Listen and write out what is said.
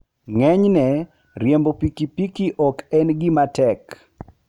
Ng'enyne, riembo pikipiki ok en gima tek.